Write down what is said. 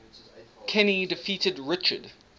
kenny defeated richard